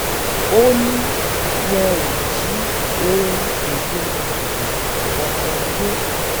ó ní wọn ò jí ohun èèlò ìdìbò kankan gbé